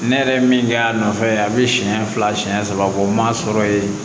Ne yɛrɛ ye min kɛ a nɔfɛ a bɛ siɲɛ fila siɲɛ saba bɔ n m'a sɔrɔ yen